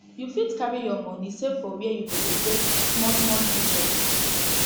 you fit carry your money save for where you go dey get small small interest